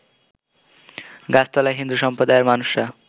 গাছতলায় হিন্দু সমপ্রাদয়ের মানুষরা